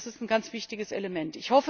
Das ist ein ganz wichtiges Element.